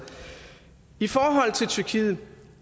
i forhold til tyrkiet